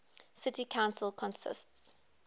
city council consists